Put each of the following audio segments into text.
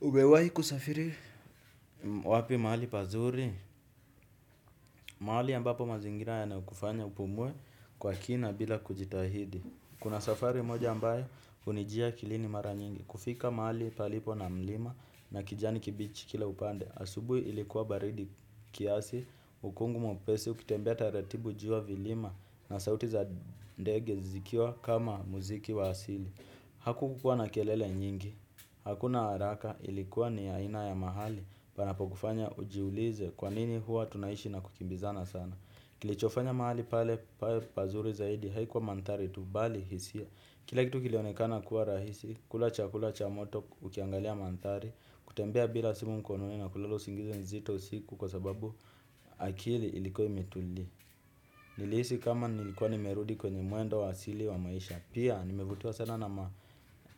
Umewai kusafiri? Wapi mahali pazuri? Mahali ambapo mazingira yanakufanya upumuwe kwa kina bila kujitahidi. Kuna safari moja ambayo unijia akilini mara nyingi. Kufika mahali palipo na mlima na kijani kibichi kila upande. Asubui ilikuwa baridi kiasi, ukungu mwepesi, ukitembea taratibu jua vilima na sauti za ndege zikiwa kama muziki wa asili. Haku kukua na kelele nyingi, hakuna haraka ilikuwa ni yaina ya mahali panapokufanya ujiulize kwanini hua tunaishi na kukimbizana sana. Kilichofanya mahali pale pazuri zaidi haikuwa mantari tu bali hisia. Kila kitu kilionekana kuwa rahisi, kula cha kula cha moto ukiangalia mantari. Kutembea bila simu mkononi na kulala usingizi nzito siku kwa sababu akili ilikuwa imetulia. Nilisi kama nilikuwa nimerudi kwenye muendo wa asili wa maisha. Pia nimevutiwa sana na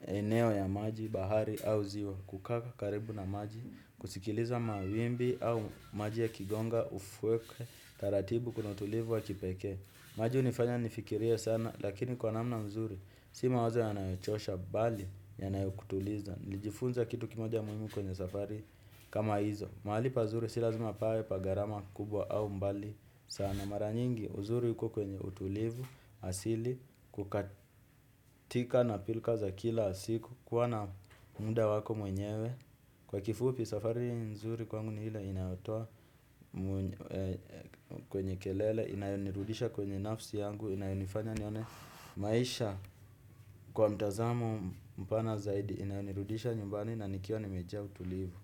maeneo ya maji bahari au ziwa kukaka karibu na maji. Kusikiliza mawimbi au maji yakigonga ufweke taratibu kuna utulivu wa kipeke. Maji unifanya nifikirie sana lakini kwa namna mzuri si mawazo yanayochosha bali yanayokutuliza nilijifunza kitu kimoja muhimu kwenye safari kama hizo. Mahali pa mzuri si lazima pawe pagarama kubwa au mbali sana mara nyingi uzuri yuko kwenye utulivu, asili, kukatika na pilkaza kila asiku, kuwa na munda wako mwenyewe. Kwa kifupi safari nzuri kwangu ni hile inayotoa kwenye kelele, inayonirudisha kwenye nafsi yangu, inayonifanya nione maisha kwa mtazamo mpana zaidi, inayonirudisha nyumbani na nikiwa nimeja utulivu.